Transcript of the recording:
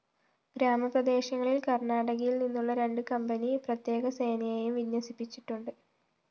ഗ്രാമപ്രദേശങ്ങളില്‍ കര്‍ണ്ണാടകയില്‍ നിന്നുള്ള രണ്ട്‌ കമ്പനി പ്രത്യേകസേനയെയും വിന്യസിപ്പിച്ചിട്ടുണ്ട്‌